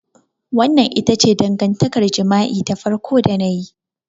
Wannan ita ce dangantakar jima'i ta farko da na yi.